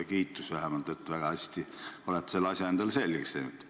Kiitus vähemalt, et olete väga hästi selle asja endale selgeks teinud!